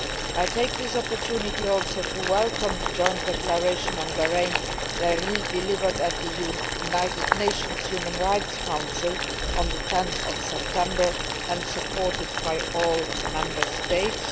I take this opportunity to also welcome the Joint Declaration on Bahrain delivered at the United Nations Human Rights Council on 10 September and supported by all Member States.